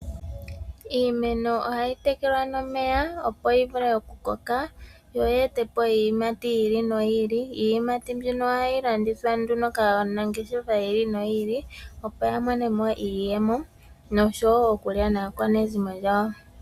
Iimeno ohayi tekelwa nomeya opo yivule okukoka, yo yeetepo iiyimati yiili noyiili. Iiyimati mbino ohayi landithwa nduno kaanangeshefa yiili noyiili, opo yamone mo iiyemo noshowoo okulya naakwanezimo yawo.